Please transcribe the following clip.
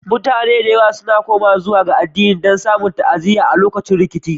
Mutane da yawa suna komawa zuwa addini don samun ta'aziyya a lokutan rikici.